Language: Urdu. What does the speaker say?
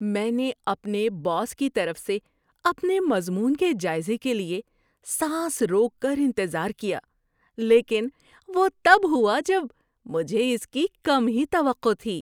میں نے اپنے باس کی طرف سے اپنے مضمون کے جائزے کے لیے سانس روک کر انتظار کیا، لیکن وہ تب ہوا جب مجھے اس کی کم ہی توقع تھی۔